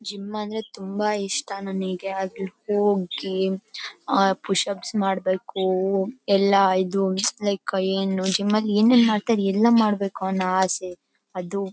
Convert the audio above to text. gym ಅಂದ್ರೆ ತುಂಬಾ ಇಷ್ಟ ನನಗೆ ಅದ್ಕ ಹೋಗಿ ಪುಶ್ ಅಪ್ಸ್ ಮಾಡಬೇಕು ಎಲ್ಲಾ ಇದು ಲೈಕ್ ಜಿಮ್ ಅಲ್ಲಿ ಏನೇನ್ ಮಾಡ್ತಾರೆ ಎಲ್ಲಾ ಮಾಡಬೇಕು ಅನ್ನೋ ಆಸೆ ಅದು --